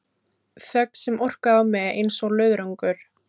Þögn sem orkaði á mig einsog löðrungur.